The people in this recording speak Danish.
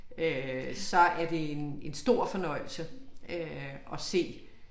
Øh så er det en en stor fornøjelse øh at se